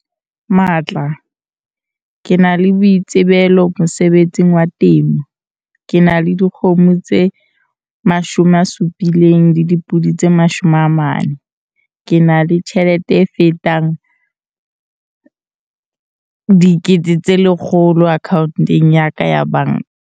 Matla- Ke na le boitsebelo mosebetsing wa temo, ke na le dikgomo tse 70 le dipodi tse 40. Ke na le tjhelete e fetang R100 000 akhaontong ya ka ya banka.